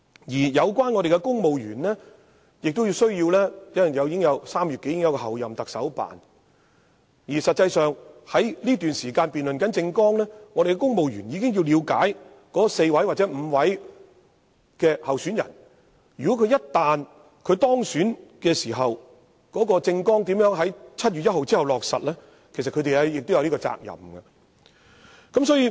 由於在3月時已將要成立候任特首辦公室，在這段辯論政綱的期間，公務員實際上已需要了解4位或5位主要候選人的政綱，並研究他們一旦當選時，如何在7月1日後落實其政綱，他們其實有責任這樣做。